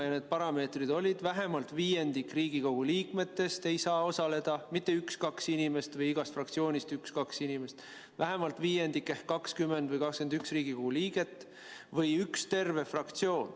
Ja need parameetrid olid: vähemalt viiendik Riigikogu liikmetest ei saa osaleda – mitte üks-kaks inimest või igast fraktsioonist üks-kaks inimest, vaid vähemalt viiendik ehk 20 või 21 Riigikogu liiget või üks terve fraktsioon.